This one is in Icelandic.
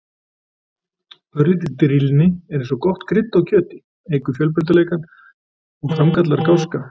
Örlítil drýldni er eins og gott krydd á kjöti, eykur fjölbreytileikann og framkallar gáska.